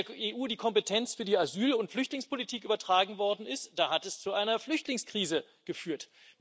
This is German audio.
Als der EU die Kompetenz für die Asyl und Flüchtlingspolitik übertragen worden ist, da hat das zu einer Flüchtlingskrise geführt.